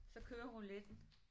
Så kører rouletten